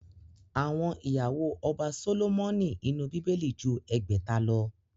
Àwọn ìyàwó ọba Sólómọ́nì inú Bíbélì ju ẹgbẹ̀ta lọ